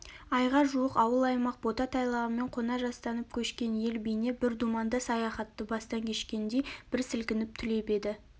айға жуық ауыл-аймақ бота-тайлағымен кона жастанып көшкен ел бейне бір думанды саяхатты бастан кешкендей бір сілкініп түлеп еді